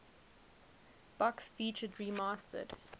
box featured remastered